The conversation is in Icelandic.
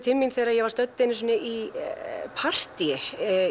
til mín þegar ég var stödd í partíi